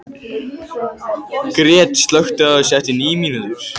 Gret, slökktu á þessu eftir níu mínútur.